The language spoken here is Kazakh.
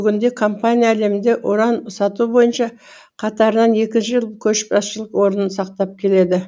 бүгінде компания әлемде уран сату бойынша қатарынан екінші жыл көшбасшылық орнын сақтап келеді